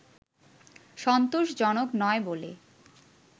সন্তোষজনক নয় বলে